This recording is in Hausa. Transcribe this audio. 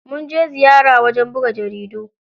Mun je ziyara wajen buga jarida.